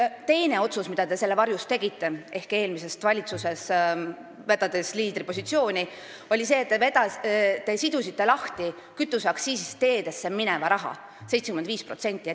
Teine otsus, mida te selle varjus tegite – eelmises valitsuses, vedades liidripositsiooni –, oli see, et te sidusite lahti kütuseaktsiisist teedesse mineva raha 75%.